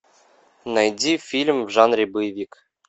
найди фильм в жанре боевик